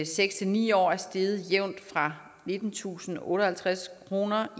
seks ni år er steget jævnt fra nittentusinde og otteoghalvtreds kroner